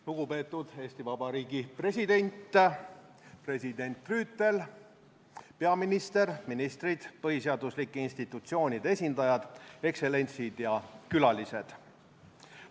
Lugupeetud Eesti Vabariigi president, president Rüütel, peaminister, ministrid, põhiseaduslike institutsioonide esindajad, ekstsellentsid ja külalised!